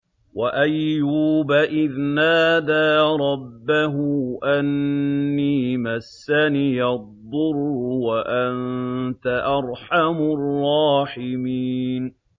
۞ وَأَيُّوبَ إِذْ نَادَىٰ رَبَّهُ أَنِّي مَسَّنِيَ الضُّرُّ وَأَنتَ أَرْحَمُ الرَّاحِمِينَ